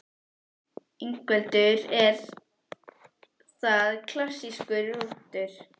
Ingveldur: Er það klassískur rúntur?